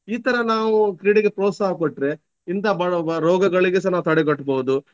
ಈ ತರ ನಾವು ಕ್ರೀಡೆಗೆ ಪ್ರೋತ್ಸಾಹ ಕೊಟ್ರೆ ಇಂತ ಬ~ ಬರುವ ರೋಗಗಳಿಗೆ ಸಹ ನಾವು ತಡೆಗಟ್ಬಹುದು.